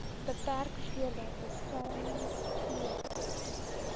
beperk voordat beskermingsklere